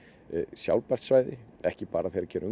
sjálfbært svæði ekki bara þegar kemur